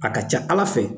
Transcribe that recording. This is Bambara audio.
A ka ca ala fɛ